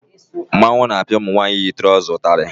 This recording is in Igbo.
Mmanwụ na-apịa ụmụ nwaanyị yi trọza ụtarị